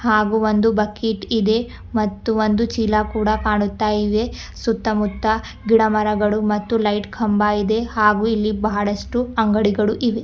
ಹಾಗೂ ಒಂದು ಬಕೆಟ್ ಇದೆ ಮತ್ತು ಒಂದು ಚೀಲ ಕಾಣುತ್ತಾ ಇವೆ ಸುತ್ತಮುತ್ತ ಗಿಡ ಮರಗಳು ಮತ್ತು ಲೈಟ್ ಕಂಬ ಇದೆ ಹಾಗೂ ಬಹಳಷ್ಟು ಅಂಗಡಿಗಳು ಇವೆ.